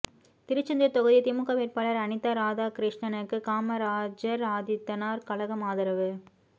திருச்செந்தூர் தொகுதி திமுக வேட்பாளர் அனிதா ராதாகிருஷ்ணனுக்கு காமராஜர்ஆதித்தனார் கழகம் ஆதரவு